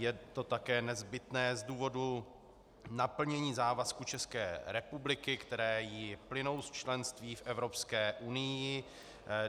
Je to také nezbytné z důvodu naplnění závazků České republiky, které jí plynou z členství v Evropské unii.